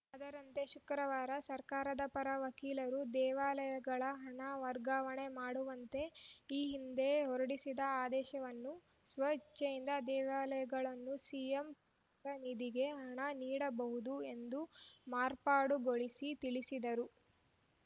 ಅದರಂತೆ ಶುಕ್ರವಾರ ಸರ್ಕಾರದ ಪರ ವಕೀಲರು ದೇವಾಲಯಗಳ ಹಣ ವರ್ಗಾವಣೆ ಮಾಡುವಂತೆ ಈ ಹಿಂದೆ ಹೊರಡಿಸಿದ್ದ ಆದೇಶವನ್ನು ಸ್ವ ಇಚ್ಛೆಯಿಂದ ದೇವಾಲಯಗಳುನ್ನು ಸಿಎಂ ಪರಿಹಾರ ನಿಧಿಗೆ ಹಣ ನೀಡಬಹುದು ಎಂದು ಮಾರ್ಪಾಡುಗೊಳಿಸಿ ತಿಳಿಸಿದರು